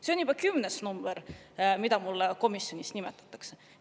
See on juba kümnes number, mida mulle komisjonis nimetatakse.